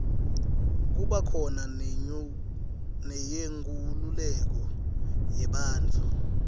kuba khona neyenkululeko yebantfu